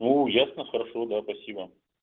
ну ясно хорошо да спасибо